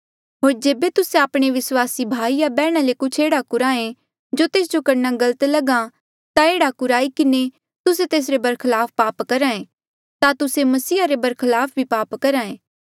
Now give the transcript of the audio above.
होर जेबे तुस्से आपणे विस्वासी भाई या बैहणा ले कुछ एह्ड़ा कुराहें जो तेस जो करणा गलत लगहा ता एह्ड़ा कुराई किन्हें तुस्से तेसरे बरखलाफ पाप करहे ता तुस्से मसीहा रे बरखलाफ भी पाप करहे